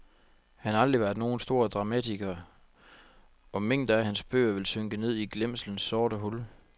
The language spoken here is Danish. Han har aldrig været nogen stor dramatiker, og mængder af hans bøger vil synke ned i glemselens sorte hul.